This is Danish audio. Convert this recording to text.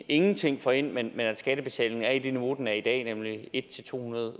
ingenting får ind men at skattebetalingen er i det niveau den er i dag nemlig hundrede